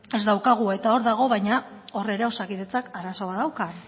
ez daukagu eta hor dago baina hor ere osakidetzak arazo bat dauka